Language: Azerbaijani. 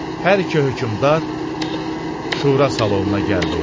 Hər iki hökmdar şura salonuna gəldi.